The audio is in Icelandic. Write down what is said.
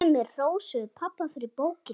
Sumir hrósuðu pabba fyrir bókina.